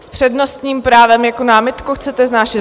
S přednostním právem - jakou námitku chcete vznášet?